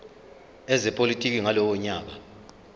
ezepolitiki ngalowo nyaka